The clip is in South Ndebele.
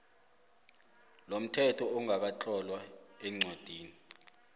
lomthetho ongakatlolwa eencwadini